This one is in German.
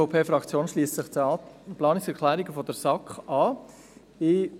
Die EVP-Fraktion schliesst sich den Planungserklärungen der SAK an.